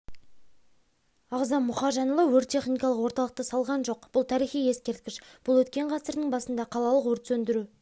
ағзам мұхажанұлы өрт-техникалық орталықты салған жоқ бұл тарихи ескерткіш бұл өткен ғасырдың басында қалалық өрт сөндіру